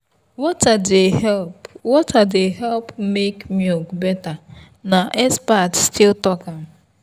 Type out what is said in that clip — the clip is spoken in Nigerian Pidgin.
water dey help water dey help make milk better na expert still talk am.